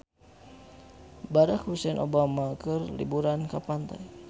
Barack Hussein Obama keur liburan di pantai